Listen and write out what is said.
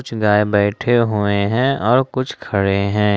कुछ गाय बैठे हुए हैं और कुछ खड़े हैं।